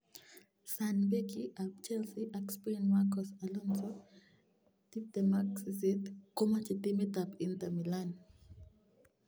(Sun) Beki ab Chelsea ak Spain Marcos Alonso, 28 komoche timit ab Inter Milan.